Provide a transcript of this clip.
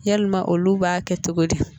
Yalima olu b'a kɛ cogo di